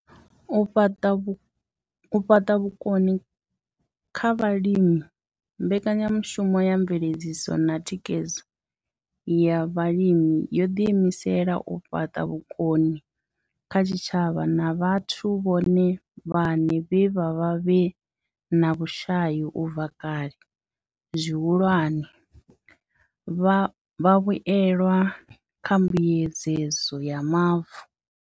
U fhaṱa vhukoni kha vhalimi mbekanyamushumo ya mveledziso na Thikhedzo ya Vhalimi yo ḓiimisela u fhaṱa vhukoni kha zwitshavha na vhathu vhone vhaṋe vhe vha vha vhe na vhushai u bva kale, zwihulwane, vhavhuelwa kha mbuedzedzo ya mavu.